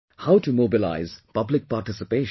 How to mobilize public participation